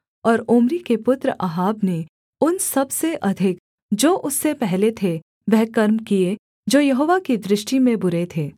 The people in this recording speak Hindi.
और ओम्री के पुत्र अहाब ने उन सबसे अधिक जो उससे पहले थे वह कर्म किए जो यहोवा की दृष्टि में बुरे थे